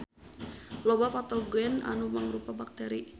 Loba patogen anu mangrupa bakteri.